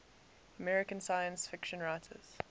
american science fiction writers